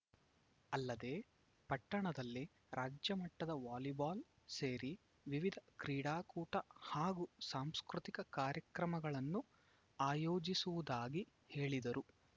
ಅಲ್ಲದೇ ಪಟ್ಟಣದಲ್ಲಿ ರಾಜ್ಯಮಟ್ಟದ ವಾಲಿಬಾಲ್‌ ಸೇರಿ ವಿವಿಧ ಕ್ರೀಡಾಕೂಟ ಹಾಗೂ ಸಾಂಸ್ಕೃತಿಕ ಕಾರ್ಯಕ್ರಮಗಳನ್ನು ಆಯೋಜಿಸುವುದಾಗಿ ಹೇಳಿದರು